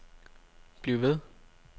bliv ved